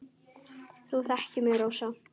Þú þekkir mig, Rósa.